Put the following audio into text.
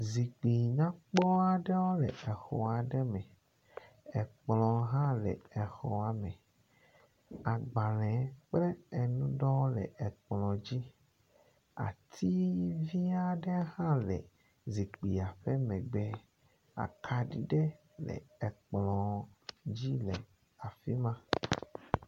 zikpuinyakpŋ aɖewo le exɔ aɖe me. Ekplɔ hã le exɔa me. Agbale kple enu ɖewo le ekplɔ dzi. Ati vi aɖe hã le zikpuia ƒe megbe. Akaɖi ɖe le ekplɔ dzi le afi ma.